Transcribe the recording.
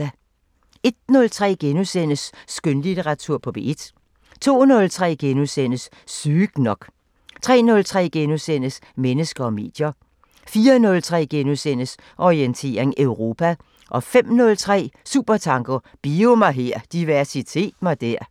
01:03: Skønlitteratur på P1 * 02:03: Sygt nok * 03:03: Mennesker og medier * 04:03: Orientering Europa * 05:03: Supertanker: Bio-mig-her, diversitet-mig-der